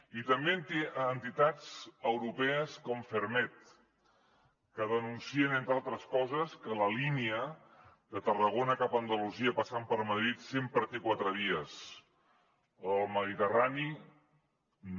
i també entitats europees com ferrmed que denuncien entre altres coses que la línia de tarragona cap a andalusia passant per madrid sempre té quatre vies la del mediterrani no